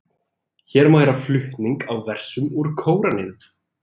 Hér má heyra flutning á versum úr Kóraninum.